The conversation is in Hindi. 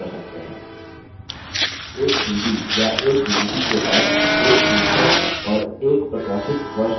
एक cd या एक dvd के पास एक शीर्षक और एक प्रकाशितवर्ष हो सकता है उदाहरणस्वरुप